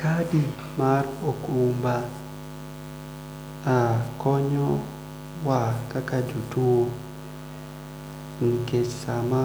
Kadi kar okumba mh konyo wa kaka jotuo nikech sama